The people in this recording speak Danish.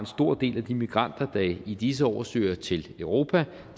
stor del af de migranter der i disse år søger til europa